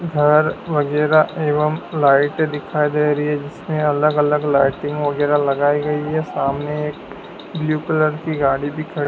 घर वगैरा एवं लाइटें दिखाई दे रही है जिसमें अलग अलग लाइटिंग वगैरा लगाई गई है सामने एक ब्लू कलर की गाड़ी भी खड़ी--